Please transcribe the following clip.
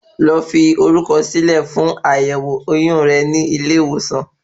Lọ fi orúkọ sí lè fún àyẹ́wò oyún re ni ilé ìwòsàn